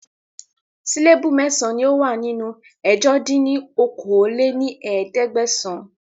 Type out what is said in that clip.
Síléébù mẹ́san ni ó wà nínú ẹ̀jọ dín ní okòó-lé-ní-ẹ̀ẹ́dẹ́gbẹ́sán